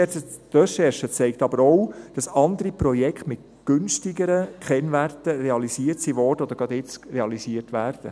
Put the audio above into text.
Die Recherche zeigt aber auch, dass andere Projekte mit günstigeren Kennwerten realisiert wurden oder jetzt gerade realisiert werden.